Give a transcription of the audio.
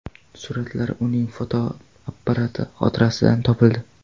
Suratlar uning fotoapparati xotirasidan topildi.